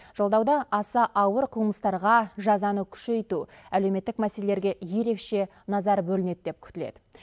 жолдауда аса ауыр қылмыстарға жазаны күшейту әлеуметтік мәселелерге ерекше назар бөлінеді деп күтіледі